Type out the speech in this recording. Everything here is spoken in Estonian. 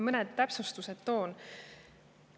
Mõned täpsustused toon.